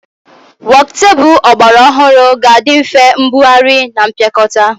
Wokutebụl ọgbara ọhụrụ ga-adị nfe mbugharị na mpịakọta